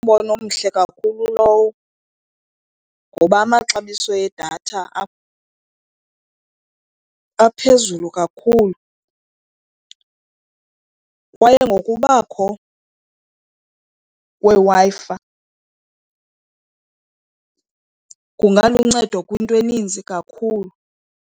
Ngumbono omhle kakhulu lowo ngoba amaxabiso edatha aphezulu kakhulu kwaye ngokubakho kweWi-Fi kungaluncedo kwinto eninzi kakhulu.